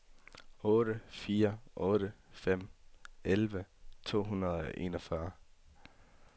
otte fire otte fem elleve to hundrede og enogfyrre